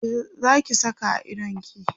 me Zaki Saka a idonki?